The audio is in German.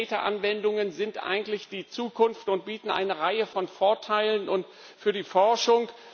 Big Data Anwendungen sind eigentlich die Zukunft und bieten eine Reihe von Vorteilen und für die Forschung.